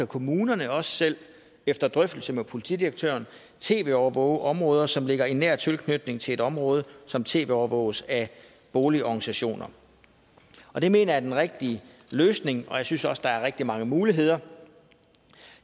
kommunerne også selv efter drøftelse med politidirektøren tv overvåge områder som ligger i nær tilknytning til et område som tv overvåges af boligorganisationer og det mener jeg er den rigtige løsning og jeg synes også der er rigtig mange muligheder